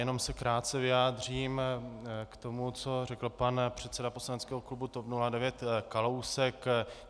Jenom se krátce vyjádřím k tomu, co řekl pan předseda poslaneckého klubu TOP 09 Kalousek.